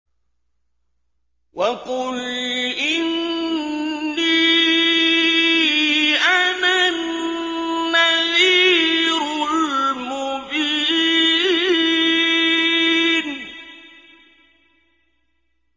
وَقُلْ إِنِّي أَنَا النَّذِيرُ الْمُبِينُ